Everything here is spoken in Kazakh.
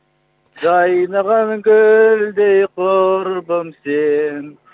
жайнаған гүлдей құрбым сен